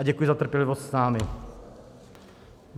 A děkuji za trpělivost s námi.